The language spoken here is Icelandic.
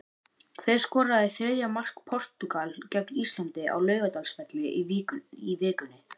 Hver skoraði þriðja mark Portúgal gegn Íslandi á Laugardalsvelli í vikunni?